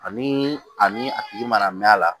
Ani ani a tigi mana mɛn a la